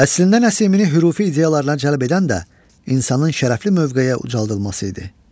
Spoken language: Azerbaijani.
Əslində Nəsimini hürufi ideyalarına cəlb edən də insanın şərəfli mövqeyə ucaldılması idi.